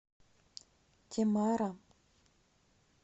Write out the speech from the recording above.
темара